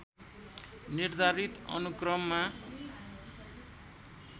निर्धारित अनुक्रममा